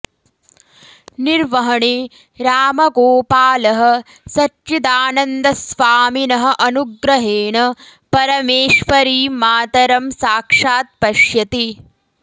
निर्वहणे रामगोपालः सच्चिदानन्दस्वामिनः अनुग्रहेण परमेश्वरीं मातरं साक्षात् पश्यति